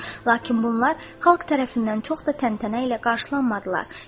Lakin bunlar xalq tərəfindən çox da təntənə ilə qarşılanmadılar.